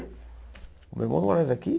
Meu irmão não mora mais aqui?